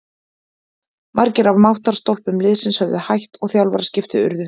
Margir af máttarstólpum liðsins höfðu hætt og þjálfaraskipti urðu.